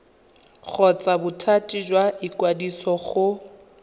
kgotsa bothati jwa ikwadiso go